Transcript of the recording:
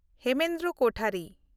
Hemendra Kothari